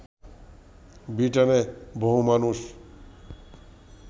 ব্রিটেনে বহু মানুষ